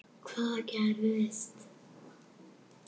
Hvað gerðist?